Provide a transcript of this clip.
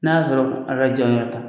N'a y'a sɔrɔ a ka jan ta